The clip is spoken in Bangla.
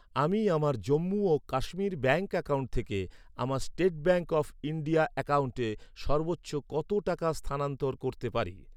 আমি আমার জম্মু ও কাশ্মীর ব্যাঙ্ক অ্যাকাউন্ট থেকে আমার স্টেট ব্যাঙ্ক অফ ইন্ডিয়া অ্যাকাউন্টে সর্বোচ্চ কত টাকা স্থানান্তর করতে পারি?